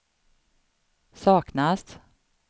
saknas